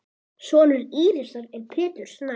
Sonur Írisar er Pétur Snær.